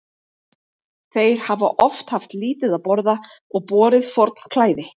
Þeir hafa oft haft lítið að borða og borið forn klæði.